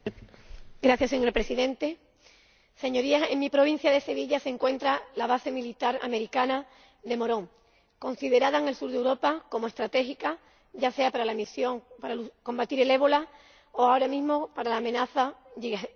Señor Presidente, Señorías, en mi provincia de Sevilla se encuentra la base militar americana de Morón, considerada en el sur de Europa como estratégica, ya sea por la misión para combatir el ébola o, ahora mismo, por la amenaza yihadista.